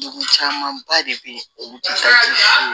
Degun camanba de bɛ yen olu ti se ka